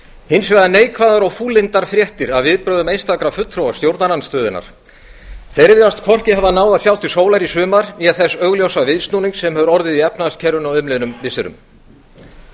hins vegar neikvæðar og fúllyndar fréttir af viðbrögðum einstakra fulltrúa stjórnarandstöðunnar þeir virðast hvorki hafa náð að sjá til sólar í sumar né þess augljósa viðsnúnings sem hefur orðið í efnahagskerfinu á umliðnum missirum